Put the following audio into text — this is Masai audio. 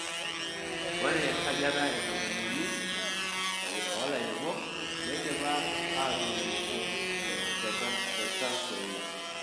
Ore esajata e 30 olairemok neidipa aatuunisho te Trans nzoia.